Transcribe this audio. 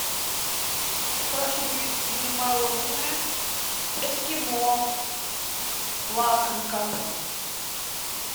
прошу привезти мне мороженое эскимо лакомка